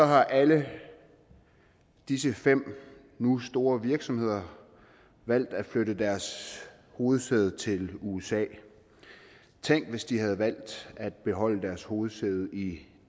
har alle disse fem nu store virksomheder valgt at flytte deres hovedsæde til usa tænk hvis de havde valgt at beholde deres hovedsæde i